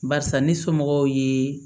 Barisa ni somɔgɔw ye